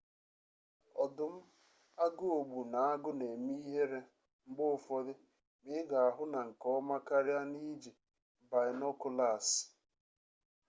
ọdụm agụogbu na agụ na-eme ihere mgbe ụfọdụ ma ị ga-ahụ na nke ọma karịa n'iji baịnokụlaasị